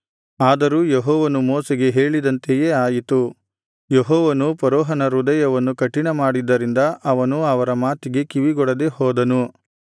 ಆದರೂ ಯೆಹೋವನು ಮೋಶೆಗೆ ಹೇಳಿದಂತೆಯೇ ಆಯಿತು ಯೆಹೋವನು ಫರೋಹನ ಹೃದಯವನ್ನು ಕಠಿಣಮಾಡಿದ್ದರಿಂದ ಅವನು ಅವರ ಮಾತಿಗೆ ಕಿವಿಗೊಡದೆ ಹೋದನು